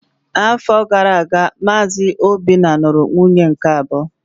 N'afọ gara aga, Maazị Obinna lụrụ nwunye nke abụọ.